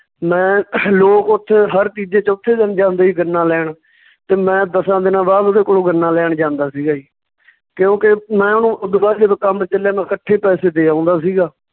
ਮੈਂ ਲੋਕ ਉੱਥੇ ਹਰ ਤੀਜੇ ਚੌਥੇ ਦਿਨ ਜਾਂਦੇ ਸੀ ਗੰਨਾ ਲੈਣ ਤੇ ਮੈਂ ਦਸਾਂ ਦਿਨਾਂ ਬਾਅਦ ਉਹਦੇ ਕੋਲੋਂ ਗੰਨਾਂ ਲੈਣ ਜਾਂਦਾ ਸੀਗਾ ਜੀ ਤੇ ਉਹ ਕਿਉਂਕਿ ਮੈਂ ਉਹਨੂੰ ਓਦੂ ਬਾਅਦ ਚ ਜਦੋਂ ਕੰਮ ਚੱਲਿਆ ਮੈਂ ਇਕੱਠੇ ਪੈਸੇ ਦੇ ਆਉਂਦਾ ਸੀਗਾ